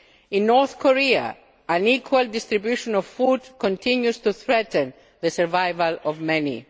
In North Korea, unequal distribution of food continues to threaten the survival of many.